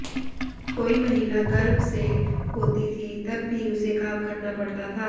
कोई महिला गर्भ से होती थी तब भी उसे काम करना पड़ता था